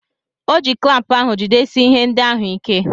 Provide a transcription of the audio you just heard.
O ji klampụ ahụ jidesie ihe ndị ahụ ike.